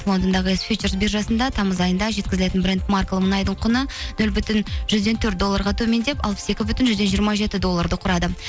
лондондағы биржасында тамыз айында жеткізілетін бренд маркалы мұнайдың құны нөл бүтін жүзден төрт долларға төмендеп алпыс екі бүтін жүзден жиырма жеті долларды құрады